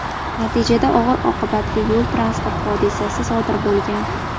Natijada og‘ir oqibatli yo‘l transport hodisasi sodir bo‘lgan.